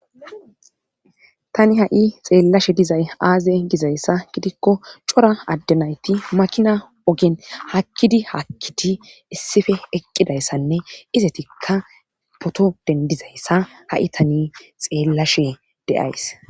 tani ha7i xeellashe dizay aaze dizayssa gidikko cora addenayti makina ogen hakkidi haakkidi issife eqqidayssanne izetikka poto dendizayssa ha7i tani xeellashe dieays